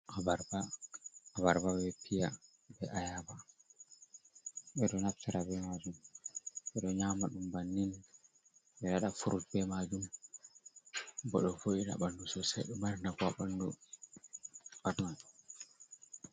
Abarba. Abarba, be piya, be ayaba. Ɓe ɗo naftira be maajum ɓe ɗo nyama ɗum bannin. Ɓe waɗa furut be maajum, bo ɗo vo’ina ɓandu sosai, ɗo mari nafu haa ɓandu batun.